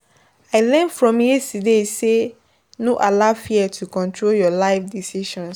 I learn from yesterday say no allow fear to control your life decisions.